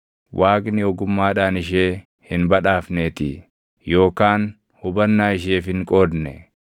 Waaqni ogummaadhaan ishee hin badhaafneetii; yookaan hubannaa isheef hin qoodne.